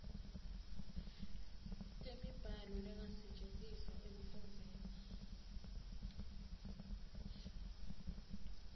temibhalo lengasetjentiswa ekufundziseni